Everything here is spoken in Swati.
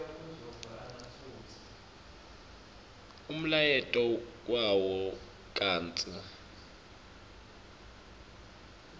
umlayeto wawo kantsi